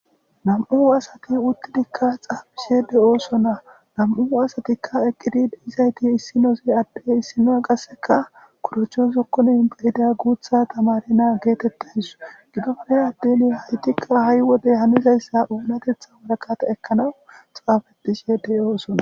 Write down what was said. nam7u asati uttidikka xaafishede ooson na nam7u asatikka eqqidide izayti issinose adde issinoa qasseka kurachozokkoni ba hida guutha tamarena geetettays gidofre addeni haytikka ha7i wodey hanizayssa oonatetha warakata ekkanawu xaafetishedey oosonna